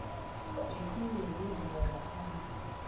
yesintu okwenziwe ngaphambi